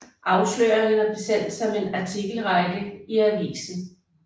Afsløringerne blev sendt som en artikelrække i avisen